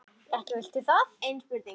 Ekki vilt þú það?